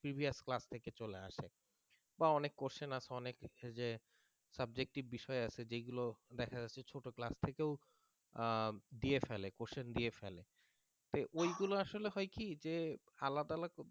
previous class থেকে চলে আসে বা অনেক question আসে অনেক যে subjective বিষয় আছে যেগুলো দেখা যাচ্ছে ছোট class থেকেও দিয়েও আহ ফেলে question দিয়ে ফেলে তে ওইগুলা আসলে হয় কি যে আলাদা